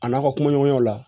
A n'a ka kumaɲɔgɔnyaw la